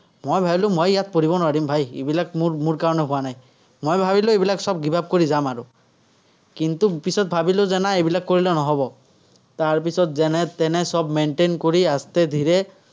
মই ভাৱিলো, মই ইয়াত পঢ়িব নোৱাৰিম ভাই, এইবিলাক মোৰ মোৰ কাৰণে হোৱা নায়। মই ভাৱিলো, এইবিলাক চব give-up কৰি যাম আৰু। কিন্তু, পিছত ভাৱিলো যে নাই এইবিলাক কৰিলে নহ'ব, তাৰপিছত যেনে তেনে চব maintain কৰি